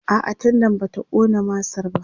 a'a tendan bata ƙona masar ba